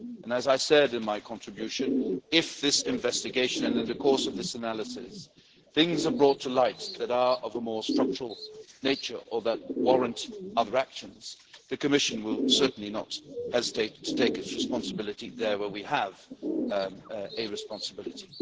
As I said in my contribution, if in this investigation, and in the course of this analysis, things are brought to light that are of a more structural nature or that warrant other actions, the Commission will certainly not hesitate to assume its responsibility, where we have a responsibility.